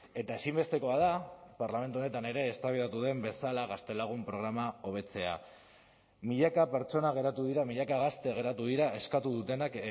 eta ezinbestekoa da parlamentu honetan ere eztabaidatu den bezala gaztelagun programa hobetzea milaka pertsona geratu dira milaka gazte geratu dira eskatu dutenak